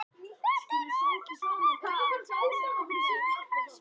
Þetta er nú ekki svo merkilegt! sagði afi hæverskur.